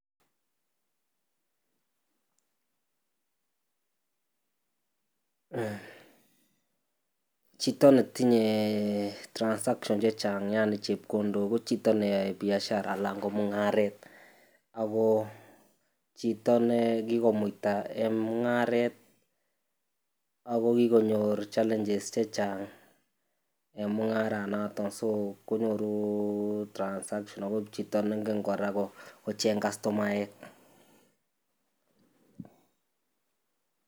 Chito netinye transaction chechang yaani chepkondok chechang ko chito neyoe biashara anan ko mung'aret akoo chito nee kikomuita en mung'aret ak ko kikonyor challenges chechang en mung'aranoton so konyoru transaction ak ko chito neng'en kora kocheng kastomaek.